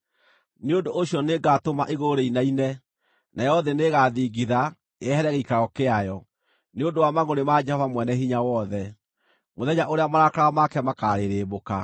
Nĩ ũndũ ũcio nĩngatũma igũrũ rĩinaine; nayo thĩ nĩĩgaathingitha, yehere gĩikaro kĩayo, nĩ ũndũ wa mangʼũrĩ ma Jehova Mwene-Hinya-Wothe, mũthenya ũrĩa marakara make makarĩrĩmbũka.